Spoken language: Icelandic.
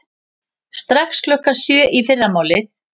Strax klukkan sjö í fyrramálið.